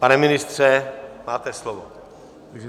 Pane ministře, máte slovo.